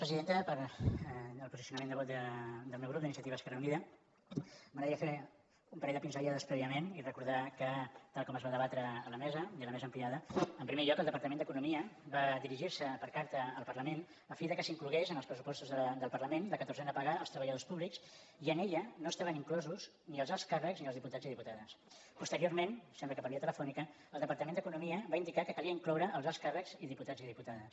pel posicionament de vot del meu grup d’iniciativa esquerra unida m’agradaria fer un parell de pinzellades prèviament i recordar que tal com es va debatre a la mesa a la mesa ampliada en primer lloc el departament d’economia va dirigir se per carta al parlament a fi que s’inclogués en els pressupostos del parlament la catorzena paga als treballadors públics i en aquella no hi estaven inclosos ni els alts càrrecs ni els diputats i diputades posteriorment sembla que per via telefònica el departament d’economia va indicar que calia incloure els alts càrrecs i diputats i diputades